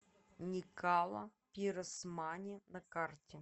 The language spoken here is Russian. никала пиросмани на карте